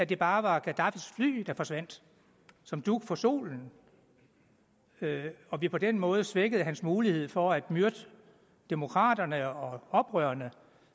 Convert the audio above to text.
det bare var gadaffis fly der forsvandt som dug for solen og vi på den måde svækkede hans mulighed for at myrde demokraterne og oprørerne